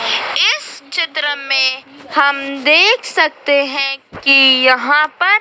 इस चित्र में हम देख सकते हैं कि यहाँ पर--